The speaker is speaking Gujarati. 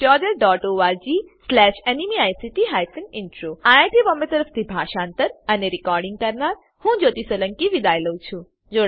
httpspoken tutorialorgNMEICT Intro IIT Bombay તરફથી હું જ્યોતી સોલંકી વિદાય લઉં છું